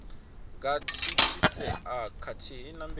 nga thithisea khathihi na mbeu